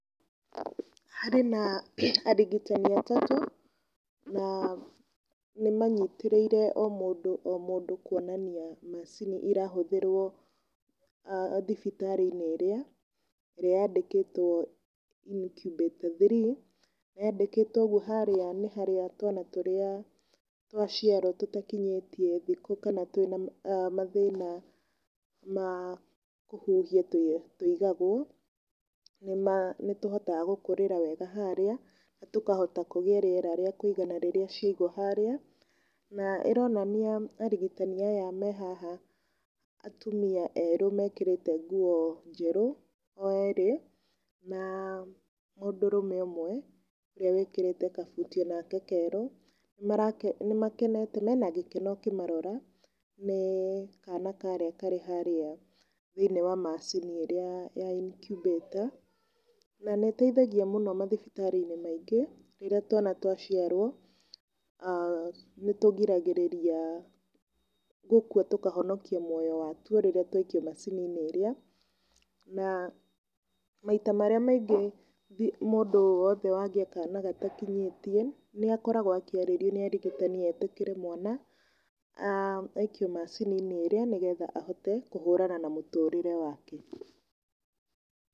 Harĩ na arigitani atatũ, na nĩ manyitĩrĩire o mũndũ o mũndũ kuonania macini ĩrahũthĩrwo thibitarĩ-inĩ ĩrĩa, ĩrĩa yandĩkĩtwo incubator three, yandĩkĩtwo ũguo harĩa nĩ harĩa twana tũrĩa twaciarwo tũtakinyĩtie thikũ kana twĩna mathĩna ma kũhuhia tũigagwo. Nĩ tũhotaga gũkũrĩra wega harĩa na tũkahota kũgĩa na rĩera rĩa kũigana rĩrĩa ciaigwo harĩa. Na ĩronania arigitani aya me haha atumia erũ mekĩrĩte nguo njerũ o erĩ, na mũndũrũme ũmwe ũrĩa wĩkĩrĩte kabuti onake kerũ. Nĩ makenete, mena gĩkeno ũkĩmarora nĩ kana karĩa karĩ harĩa thĩiniĩ wa macini ĩrĩa ya incibator, na nĩ ĩteithagia mũno mathibitarĩ-inĩ maingĩ rĩrĩa twana twaciarwo nĩ tũrigagĩrĩria gũkua tũkahonokia muoyo watuo rĩrĩa twaikio macini-nĩ ĩrĩa, na maita marĩa maingĩ mũndũ o wothe ũrĩa wagĩa kana gatakinyĩtie, nĩ akoragwo akĩarĩrio nĩ arigitani etĩkĩre mwana aikio macininĩ ĩrĩa nĩgetha ahote kũhũrana na mũtũrĩre wake.